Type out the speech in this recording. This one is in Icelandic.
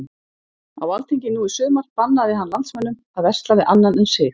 Á alþingi nú í sumar bannaði hann landsmönnum að versla við annan en sig.